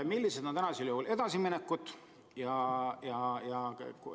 Millised on edasiminekud?